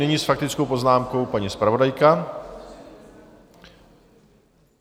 Nyní s faktickou poznámkou paní zpravodajka.